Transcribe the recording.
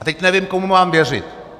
A teď nevím, komu mám věřit.